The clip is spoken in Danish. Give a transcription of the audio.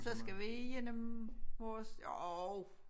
Så skal vi igennem vores jo